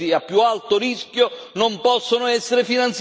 Terzo rapporto con il Parlamento.